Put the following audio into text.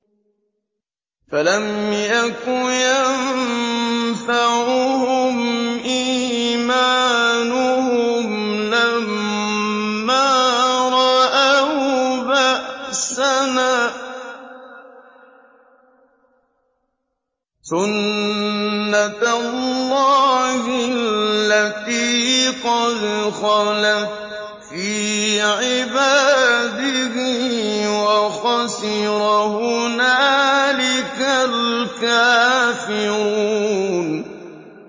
فَلَمْ يَكُ يَنفَعُهُمْ إِيمَانُهُمْ لَمَّا رَأَوْا بَأْسَنَا ۖ سُنَّتَ اللَّهِ الَّتِي قَدْ خَلَتْ فِي عِبَادِهِ ۖ وَخَسِرَ هُنَالِكَ الْكَافِرُونَ